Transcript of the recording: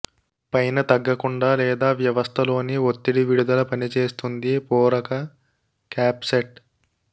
పైన తగ్గకుండా లేదా వ్యవస్థలోని ఒత్తిడి విడుదల పనిచేస్తుంది పూరక క్యాప్ సెట్